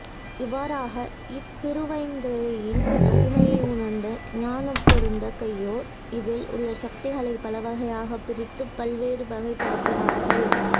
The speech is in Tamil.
இவ்வாறாக இத்திருவைந்தெழித்தின் மகிமையை உணர்ந்த ஞானப்பெருந்தகையோர் இதில் உள்ள சக்திகளை பலவகையாக பிரித்து பல்வேறு வகைப்படுத்தினார்கள்